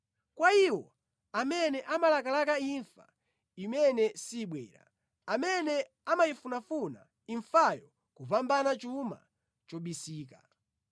kwa iwo amene amalakalaka imfa imene sibwera, amene amayifunafuna imfayo kupambana chuma chobisika,